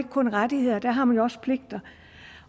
kun rettigheder der har man jo også pligter